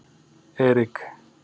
Erik